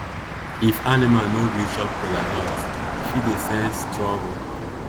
if animal no gree chop kola nut e fit dey sense trouble.